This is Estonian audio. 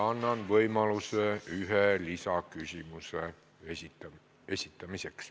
Annan võimaluse iga põhiküsimuse puhul esitada üks lisaküsimus.